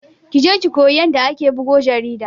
Kije ki koyi yanda ake bugo jarida